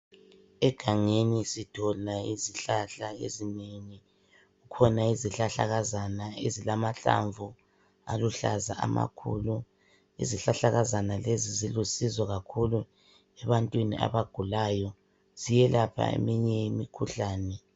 Egangeni sithola izihlahla ezinengi. Kukhona izihlahlakazana ezilamahlamvu aluhlaza amakhulu. Izihlahlakazana lezi zilusizo kakhulu ebantwini abagulayo. Ziyelapha eminye imikhuhlani.